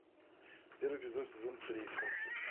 первый эпизод сезон три общество